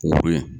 Wo ye